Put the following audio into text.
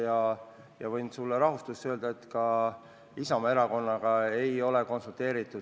Ja ma võin sulle rahustuseks öelda, et ka Isamaa erakonnaga ei ole selles asjas konsulteeritud.